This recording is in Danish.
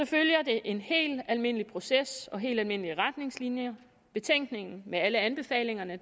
følger det en helt almindelig proces og helt almindelige retningslinjer betænkningen med alle anbefalingerne